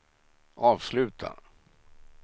avsluta